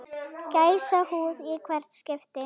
Gæsahúð í hvert skipti.